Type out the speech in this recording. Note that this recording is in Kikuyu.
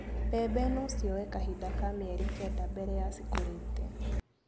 Mbembe nocioye kahinda ka mĩeri kenda mbere ya cikũrĩte.